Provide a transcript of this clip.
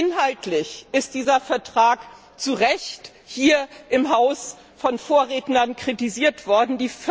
Inhaltlich ist dieser Vertrag zu Recht hier im Haus von den Vorrednern kritisiert worden.